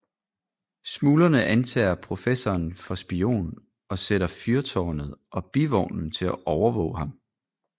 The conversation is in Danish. Smuglerne antager professoren for spion og sætter Fyrtårnet og Bivognen til at våge over ham